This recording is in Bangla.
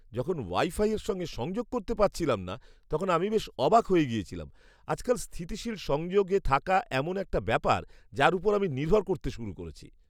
যখন ওয়াইফাইয়ের সঙ্গে সংযোগ করতে পারছিলাম না, তখন আমি বেশ অবাক হয়ে গিয়েছিলাম। আজকাল স্থিতিশীল সংযোগে থাকা এমন একটা ব্যাপার যার উপর আমি নির্ভর করতে শুরু করেছি।